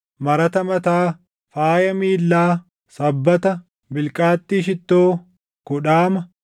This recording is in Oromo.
Marata mataa, faaya miillaa, sabbata, bilqaaxxii shittoo, kudhaama,